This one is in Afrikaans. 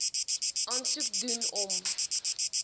aansoek doen om